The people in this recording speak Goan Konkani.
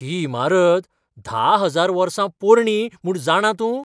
ही इमारत धा हजार वर्सां पोरणी म्हूण जाणा तूं?